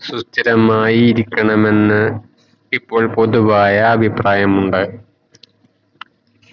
ചലമായി ഇരിക്കണമെന്ന് ഇപ്പോൾ പൊതുവായ അഭിപ്രായമുണ്ട്